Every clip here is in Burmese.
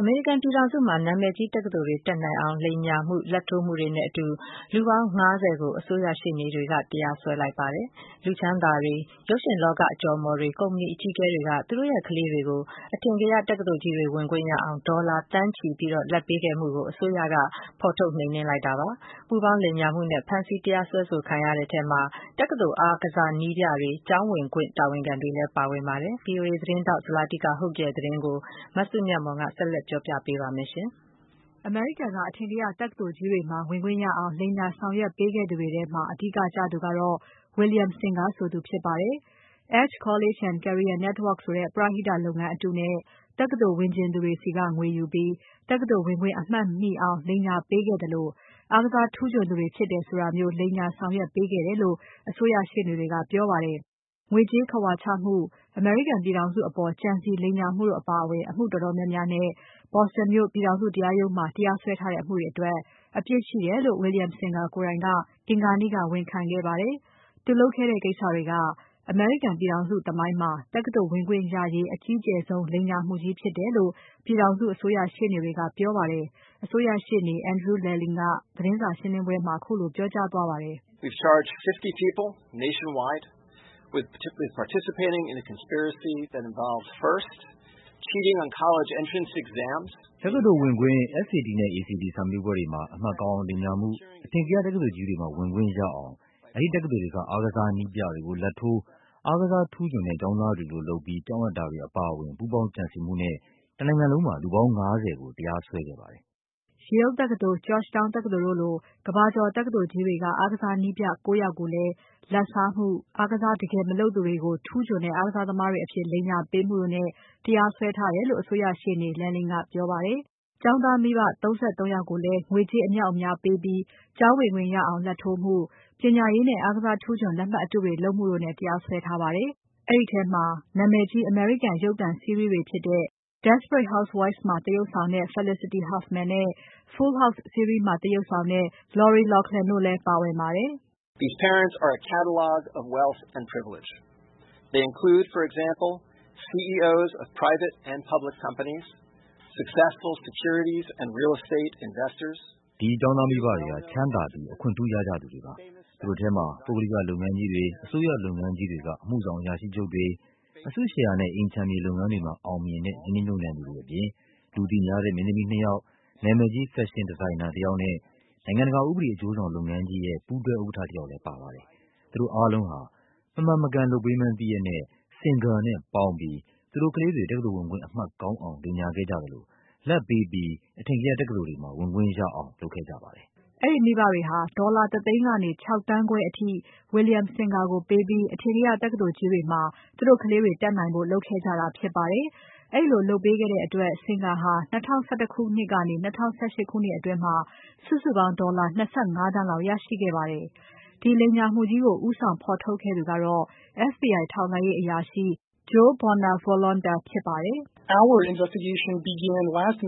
အမေရိကန် ပြည်ထောင်စုမှာ နာမည်ကြီး တက္ကသိုလ်တွေ တက်နိုင်အောင် လိမ်ညာမှု၊ လာဘ်ထိုးမှုတွေနဲ့ လူပေါင်း ၅၀ ကို အစိုးရရှေ့နေတွေက တရားစွဲလိုက်ပါတယ်။ လူချမ်းသာတွေ၊ ရုပ်ရှင်လောက အကျော်အမော်တွေ၊ ကုမ္ပဏီ အကြီးအကဲတွေက သူတို့ရဲ့ကလေးတွေကို အထင်ကရ တက္ကသိုလ်ကြီးတွေ ဝင်ခွင့်ရအောင် ဒေါ်လာ သန်းချီ အထိ လာဘ်ပေးခဲ့မှုကို အစိုးရက ဖော်ထုတ် နှိမ်နှင်းလိုက်တာ ဖြစ်ပါတယ်။ ပူးပေါင်း လိမ်ညာမှုနဲ့ ဖမ်းဆီး တရားစွဲခံရတဲ့ထဲမှာ တက္ကသိုလ် အားကစား နည်းပြတွေ၊ ကျောင်းဝင်ခွင့် တာဝန်ခံတွေလည်း ပါဝင်ပါတယ်။ VOA သတင်းထောက် Zlatica Hoke ရဲ့သတင်းကို မစုမြတ်မွန်က ဆက်လက်တင်ပြပါမယ်။ အမေရိကန်က အထင်ကရ တက္ကသိုလ်ကြီးတွေမှာ ဝင်ခွင့်ရအောင် လိမ်လည် ဆောင်ရွက်ပေးခဲ့သူတွေထဲမှာ အဓိကကျသူကတော့ William "Rick" Singer ဆိုသူ ဖြစ်ပါတယ်။ Edge College & Career Network ဆိုတဲ့ ပရဟိတ လုပ်ငန်းအတုနဲ့ တက္ကသိုလ် ဝင်ချင်သူတွေဆီက ငွေယူပြီး တက္ကသိုလ် ဝင်ခွင့် အမှတ်မှီအောင် လိမ်ညာ လုပ်ပေးခဲ့သလို၊ အားကစား ထူးချွန်သူတွေ ဖြစ်တယ်ဆိုတာမျိုး လိမ်ညာ ဆောင်ရွက်ပေးခဲ့တယ်လို့ အစိုးရ ရှေ့နေတွေက ပြောပါတယ်။ ငွေကြေး ခဝါချမှု၊ အမေရိကန် ပြည်ထောင်စုအပေါ် ကြံစည် လိမ်လည်မှုတို့ အပါအဝင် အမှု တော်တော်များများနဲ့ Boston မြို့ ပြည်ထောင်စု တရားရုံးမှာ တရားစွဲထားတဲ့ အမှုတွေအတွက် အပြစ်ရှိတယ်လို့ William Singer က အင်္ဂါနေ့က ဝန်ခံခဲ့ပါတယ်။ သူလုပ်ခဲ့တဲ့ ကိစ္စတွေက အမေရိကန် ပြည်ထောင်စု သမိုင်းမှာ တက္ကသိုလ် ဝင်ခွင့်ရရေး အကြီးကျယ်ဆုံး လိမ်ညာမှုကြီး ဖြစ်တယ်လို့ ပြည်ထောင်စု အစိုးရ ရှေ့နေတွေက ပြောပါတယ်။ အစိုးရရှေ့နေ Andrew Lelling ကသတင်း စာရှင်းပွဲမှာ ခုလို ပြောသွားပါတယ်။ “တက္ကသိုလ် ဝင်ခွင့် SAT နဲ့ ACT စာမေးပွဲတွေမှာ အမှတ် ကောင်းအောင် လိမ်ညာမှု၊ အထင်ကရ တက္ကသိုလ်ကြီးတွေမှာ ဝင်ခွင့်ရအောင် အဲဒီ တက္ကသိုလ်တွေက အားကစား နည်းပြတွေကို လာဘ်ထိုးပြီး အားကစား ထူးချွန်တဲ့ ကျောင်းသားတွေလိုလုပ် ကျောင်းအပ်မှုတို့ အပါအဝင် ပူးပေါင်း ကြံစည်မှုနဲ့ တနိုင်ငံလုံးမှာ လူပေါင်း ၅၀ ကို တရားစွဲခဲ့ပါတယ်။” Yale တက္ကသိုလ်၊ Georgetown တက္ကသိုလ်တို့လို ကမ္ဘာကျော် တက္ကသိုလ်ကြီးတွေက အားကစား နည်းပြ ၉ ယောက်ကိုလည်း လာဘ်စားမှု၊ တကယ် အားကစား မလုပ်သူတွေကို ထူးချွန်တဲ့ အားကစား သမားတွေ အဖြစ် လိမ်ညာပေးမှုတို့နဲ့ တရားစွဲထားတယ်လို့ အစိုးရရှေ့နေ Lelling ကပြောပါတယ်။ ကျောင်းသားမိဘ ၃၃ ယောက်ကိုလည်း ငွေကြေး အမြောက်အများ ပေးပြီး ကျောင်းဝင်ခွင့်ရအောင် လာဘ်ထိုးမှု၊ ပညာရေးနဲ့ အားကစား ထူးချွန် လက်မှတ် အတုတွေ လုပ်မှုတို့နဲ့ တရားစွဲထားပါတယ်။ အဲဒီထဲမှာ နာမည်ကြီး အမေရိကန် ရုပ်သံ စီးရီးတွေဖြစ်တဲ့ Desperate Housewives မှာ သရုပ်ဆောင်တဲ့ မင်းသမီး Felicity Huffman နဲ့ Full House စီးရီးမှာ သရုပ်ဆောင်တဲ့ Lori Loughlin တို့လည်း ပါဝင်ပါတယ်။ “ဒီ ကျောင်းသား မိဘတွေဟာ ချမ်းသာပြီး အခွင့်ထူးရကြသူတွေ ဖြစ်ကြပါတယ်။ သူတို့ထဲမှာ ပုဂ္ဂလိက လုပ်ငန်းကြီးတွေ အစိုးရ လုပ်ငန်းကြီးတွေက အမှုဆောင် အရာရှိချုပ်တွေ၊ အစုရှယ်ယာနဲ့ အိမ်ခြံမြေ လုပ်ငန်းတွေမှာ အောင်မြင်တဲ့ ရင်းနှီး မြှုပ်နှံသူတွေအပြင်၊ လူသိများတဲ့ မင်းသမီး ၂ ယောက်၊ နာမည်ကြီး Fashion designer တယောက်နဲ့ နိုင်ငံတကာ ဥပဒေ အကျိုးဆောင် လုပ်ငန်းကြီးရဲ့ ပူးတွဲ ဥက္ကဋ္ဌ တယောက်လည်း ပါဝင်ပါတယ်။ သူတို့ အားလုံးဟာ မမှန်မကန် လုပ်ပေးမှန်း သိရက်နဲ့ Singer နဲ့ပေါင်းပြီး သူတို့ကလေးတွေ တက္ကသိုလ် ဝင်ခွင့် အမှတ် ကောင်းအောင် လိမ်ညာခဲ့ကြသလို၊ လာဘ်ပေးပြီး အထင်ကရ တက္ကသိုလ်တွေမှာ ဝင်ခွင့်ရအောင် လုပ်ခဲ့ကြပါတယ်။” အဲဒီ မိဘတွေဟာ ဒေါ်လာ ၁ သိန်းကနေ ၆ သန်းခွဲအထိ William Singer ကို ပေးပြီး အထင်ကရ တက္ကသိုလ်ကြီးတွေမှာ သူတို့ကလေးတွေ တက်နိုင်ဖို့ လုပ်ခဲ့ကြတာ ဖြစ်ပါတယ်။ ဒီလို လုပ်ပေးခဲ့တဲ့အတွက် Singer ဟာ ၂၀၁၁ ခုနှစ်ကနေ ၂၀၁၈ ခုနှစ်အတွင်း စုစုပေါင်း ဒေါ်လာ ၂၅ သန်းလောက် ရရှိခဲ့ပါတယ်။ ဒီ လိမ်ညာမှုကြီးကို ဦးဆောင် ဖော်ထုတ်ခဲ့သူကတော့ FBI ထောက်လှမ်းရေး အရာရှိ Joe Bonavolonta ဖြစ်ပါတယ်။ “ဒီကိစ္စ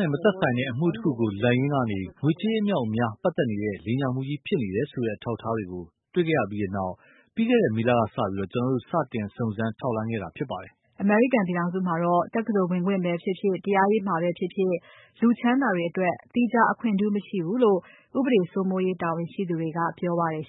နဲ့ မသက်ဆိုင်တဲ့ အမှုတခုကို လိုက်ရင်းကနေ ငွေကြေး အမြောက်အများ ပတ်သက်နေတဲ့ လိမ်ညာမှုကြီး ဖြစ်နေတယ်ဆိုတဲ့ အထောက်အထားတွေ တွေ့ခဲ့ရပြီးတဲ့နောက် ပြီးခဲ့တဲ့ မေလ ကစပြီး ကျွန်တော်တို့ စတင် စုံစမ်း ထောက်လှမ်းခဲ့တာ ဖြစ်ပါတယ်။” အမေရိကန် ပြည်ထောင်စုမှာတော့ တက္ကသိုလ် ဝင်ခွင့်ပဲဖြစ်ဖြစ်၊ တရားရေးမှာပဲဖြစ်ဖြစ် လူချမ်းသာတွေ အတွက် သီးခြား အခွင့်ထူး မရှိဘူးလို့ ဥပဒေ စိုးမိုးရေး တာဝန်ရှိသူတွေက ပြောပါတယ်